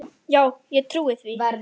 Já ég trúi því.